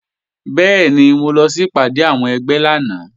Bẹ́ẹ̀ni, mo lọ sí ìpàdé àwọn ẹgbẹ́ lánàá